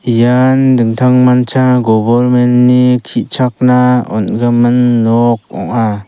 ian dingtangmancha gobormen ni ki·chakna on·gimin nok ong·a.